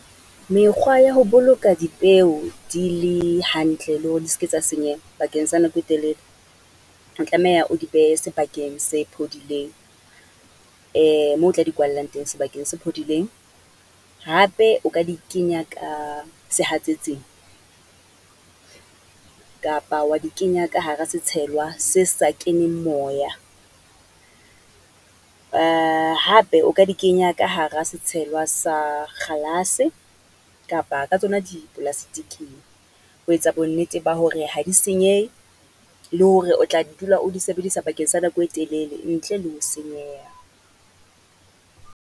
Mekgwa ya ho boloka dipeo di le hantle, le hore di ske tsa senyeha bakeng sa nako e telele. O tlameha o di behe sebakeng se phodileng, moo o tla di kwallang teng sebakeng se phodileng. Hape o ka di kenya ka sehatsetsing, kapa wa di kenya ka hara setshelwa se sa keneng moya. Hape o ka di kenya ka hara setshelwa sa kgalase, kapa ka tsona dipolastiking, ho etsa bonnete ba hore ha di senyehe, le hore o tla dula o di sebedisa bakeng sa nako e telele, ntle le ho senyeha.